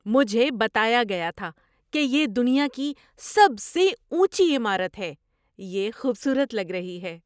مجھے بتایا گیا تھا کہ یہ دنیا کی سب سے اونچی عمارت ہے۔ یہ خوبصورت لگ رہی ہے!